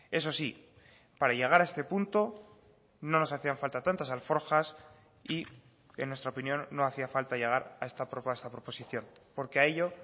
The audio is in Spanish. eso sí para llegar a este punto no nos hacían falta tantas alforjas y en nuestra opinión no hacía falta llegar a esta proposición porque a ello